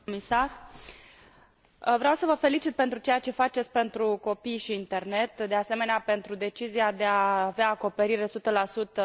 Vreau să vă felicit pentru ceea ce faceți pentru copii și internet și, de asemenea, pentru decizia de a avea acoperire 100 pentru până în anul